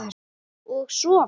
Og sofa.